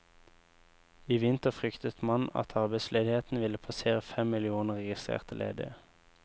I vinter fryktet man at arbeidsledigheten ville passere fem millioner registrerte ledige.